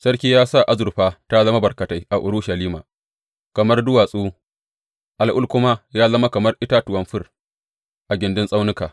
Sarki ya sa azurfa ta zama barkatai a Urushalima kamar duwatsu, al’ul kuma da yawa kamar itatuwan fir a gindin tsaunuka.